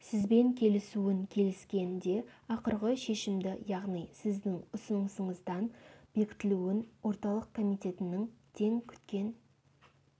сізбен келісуін келіскен де ақырғы шешімді яғни сіздің ұсынысыңыздың бекітілуін орталық комитетінің тен күткен